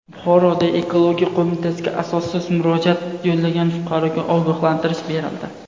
Buxoroda Ekologiya qo‘mitasiga asossiz murojaat yo‘llagan fuqaroga ogohlantirish berildi.